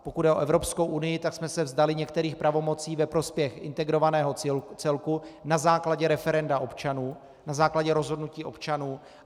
Pokud jde o Evropskou unii, tak jsme se vzdali některých pravomocí ve prospěch integrovaného celku na základě referenda občanů, na základě rozhodnutí občanů.